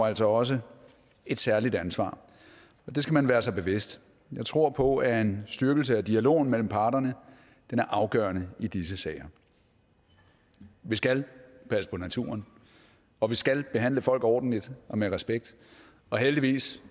altså også et særligt ansvar og det skal man være sig bevidst jeg tror på at en styrkelse af dialogen mellem parterne er afgørende i disse sager vi skal passe på naturen og vi skal behandle folk ordentligt og med respekt og heldigvis